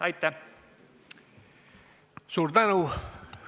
Suur tänu!